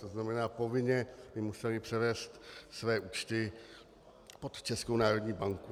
To znamená, povinně by musely převést své účty pod Českou národní banku.